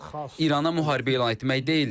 İrana müharibə elan etmək deyildi.